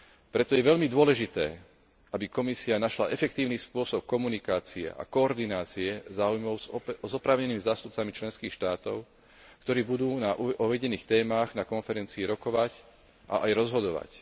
Preto je veľmi dôležité, aby Komisia našla efektívny spôsob komunikácie a koordinácie záujmov s oprávnenými zástupcami členských štátov, ktorí budú na uvedených témach na konferencii rokovať a aj rozhodovať.